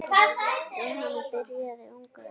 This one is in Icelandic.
Jóhann byrjaði ungur að vinna.